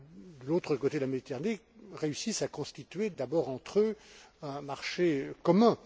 de l'autre côté de la Méditerranée, réussissent à constituer d'abord entre eux un marché commun.